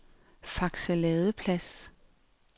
Fakse Ladeplads